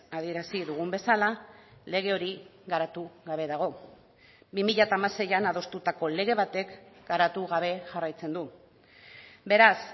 adierazi dugun bezala lege hori garatu gabe dago bi mila hamaseian adostutako lege batek garatu gabe jarraitzen du beraz